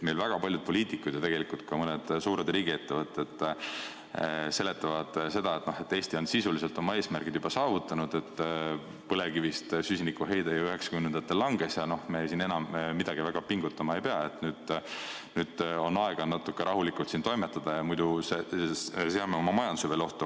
Meil väga paljud poliitikud ja tegelikult ka mõned suured riigiettevõtted seletavad seda, et Eesti on sisuliselt oma eesmärgid juba saavutanud, sest põlevkivist süsinikuheide ju 1990‑ndatel langes ja me siin enam midagi väga pingutama ei pea, nüüd on aega natuke rahulikult toimetada, muidu seame veel oma majanduse ohtu.